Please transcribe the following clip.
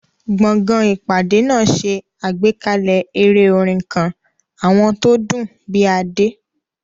Gbọ̀ngàn ìpàdé náà ṣe àgbékalẹ̀ eré orin kan, àwọn tó dùn bíi Ade.